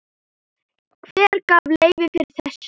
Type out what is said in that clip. Hver gaf leyfi fyrir þessu?